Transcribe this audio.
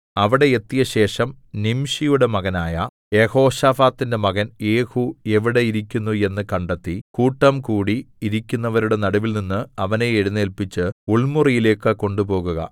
അവിടെ എത്തിയശേഷം നിംശിയുടെ മകനായ യെഹോശാഫാത്തിന്റെ മകൻ യേഹൂ എവിടെ ഇരിക്കുന്നു എന്ന് കണ്ടെത്തി കൂട്ടംകൂടി ഇരിക്കുന്നവരുടെ നടുവിൽനിന്ന് അവനെ എഴുന്നേല്പിച്ച് ഉൾമുറിയിലേക്ക് കൊണ്ടുപോകുക